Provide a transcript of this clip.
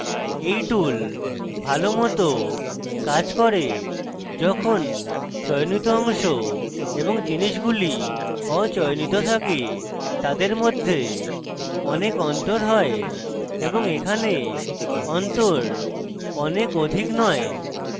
এই tool ভালো মত কাজ করে যখন চয়নিত অংশ এবং জিনিসগুলি অচয়নিত থাকে তাদের মধ্যে অধিক অন্তর হয় এবং এখানে অন্তর অনেক অধিক নয়